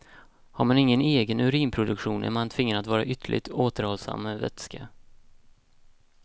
Har man ingen egen urinproduktion är man tvingad att vara ytterligt återhållsam med vätska.